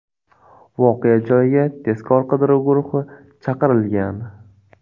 Voqea joyiga tezkor qidiruv guruhi chaqirilgan.